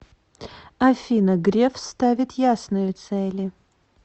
афина греф ставит ясные цели